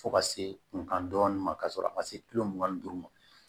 Fo ka se kunkan dɔɔnin ka sɔrɔ a ma se kilo mugan ni duuru ma